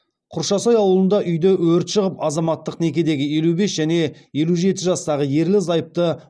құршасай ауылында үйде өрт шығып азаматтық некедегі елу бес және елу жеті жастағы ерлі зайыпты